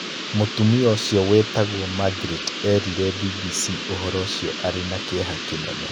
Mũtumia ũcio wĩtagwo Magreti eerire BBC ũhoro ũcio arĩ na kĩeha kĩnene.